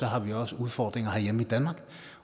har vi også udfordringer herhjemme i danmark